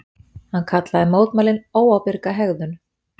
Hann kallaði mótmælin óábyrga hegðun